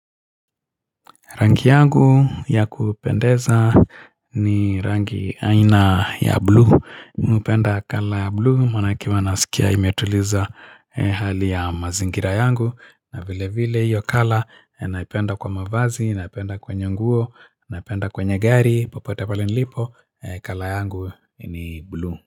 Rangi yangu ya kupendeza ni rangi aina ya bluu. Mimi hupenda kala ya bluu, maanake huwa nasikia imetuliza hali ya mazingira yangu. Na vile vile hiyo kala, naipenda kwa mavazi, naipenda kwenye nguo, naipenda kwenye gari, popote pale nilipo, kala yangu ni bluu.